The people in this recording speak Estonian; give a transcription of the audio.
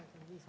Viis minutit?